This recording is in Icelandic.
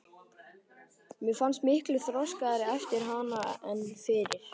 Mér fannst ég miklu þroskaðri eftir hana en fyrir.